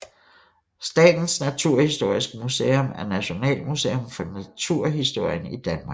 Statens Naturhistoriske Museum er nationalmuseum for naturhistorien i Danmark